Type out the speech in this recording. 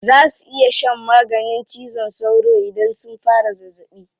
Za su iya shan maganin cizon sauro idan sun fara zazzaɓi.